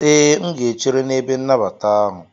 Ee, M ga-echere n'ebe nnabata ahụ.